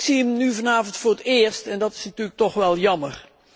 Maar ik zie hem nu vanavond voor het eerst, en dat is natuurlijk toch wel jammer.